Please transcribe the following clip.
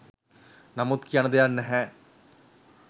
නමුත් කියන්න දෙයක් නැහැ